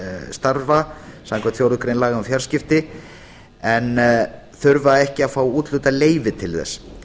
starfa samkvæmt fjórðu grein laga um fjarskipti en þurfa ekki að fá úthlutað leyfi til þess